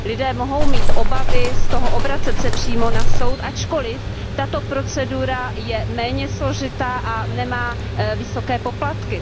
Lidé mohou mít obavy obracet se přímo na soud, ačkoliv tato procedura je méně složitá a nemá vysoké poplatky.